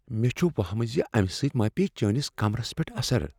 مےٚ چھ وہَمہ زِ امہ سۭتۍ ما پیٚیہ چانس کمرس پیٹھ اثر۔